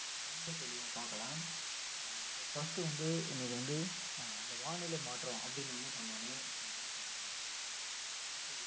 ரொம்ப தெளிவா பார்க்கலாம் ஆஹ் இப்போ first வந்து இன்னைக்கு வந்து அஹ் அந்த வானிலை மாற்றம் அப்படின்னு சொன்ன உடனே இப்போ night time ல இப்போ